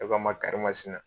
E b'a ma kari masina